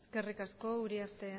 eskerrik asko uriarte